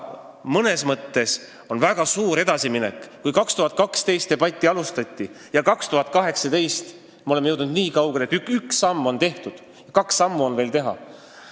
Mõnes mõttes on see väga suur edasiminek: 2012. aastal seda debatti alustati ja 2018. aastaks oleme jõudnud nii kaugele, et üks samm on tehtud ja kaks sammu on vaja veel teha.